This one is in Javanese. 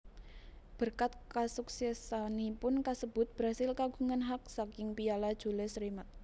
Berkat kasuksesanipun kasebut Brasil kagungan hak saking Piala Jules Rimet